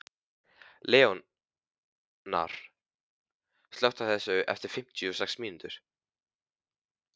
Leónóra, slökktu á þessu eftir fimmtíu og sex mínútur.